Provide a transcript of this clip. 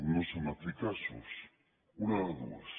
no són eficaços una de dues